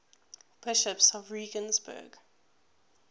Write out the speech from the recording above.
bishops of regensburg